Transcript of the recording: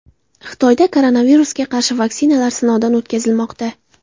Xitoyda koronavirusga qarshi vaksinalar sinovdan o‘tkazilmoqda.